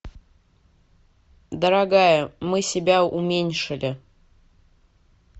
дорогая мы себя уменьшили